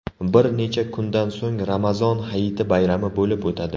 Bir necha kundan so‘ng Ramazon hayiti bayrami bo‘lib o‘tadi.